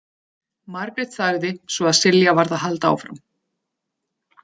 Margrét þagði svo að Silja varð að halda áfram.